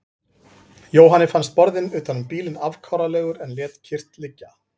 Jóhanni fannst borðinn utan um bílinn afkáralegur en lét kyrrt liggja.